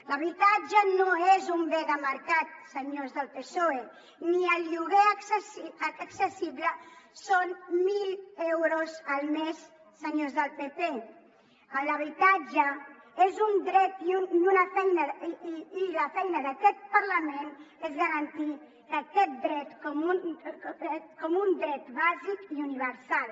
l’habitatge no és un bé de mercat senyors del psoe ni el lloguer accessible són mil euros al mes senyors del pp l’habitatge és un dret i la feina d’aquest parlament és garantir aquest dret com un dret bàsic i universal